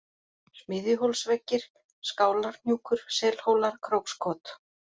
Smiðjuhólsveggir, Skálarhnjúkur, Selhólar, Krókskot